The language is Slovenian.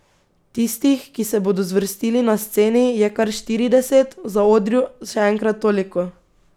Tistih, ki se bodo zvrstili na sceni, je kar štirideset, v zaodrju še enkrat toliko.